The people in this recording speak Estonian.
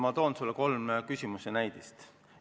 Ma toon sulle kolm küsimuse näidet.